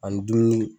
Ani dumuni